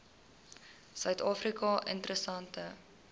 suid afrika interessante